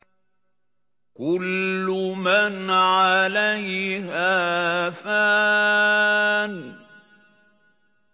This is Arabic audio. كُلُّ مَنْ عَلَيْهَا فَانٍ